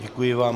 Děkuji vám.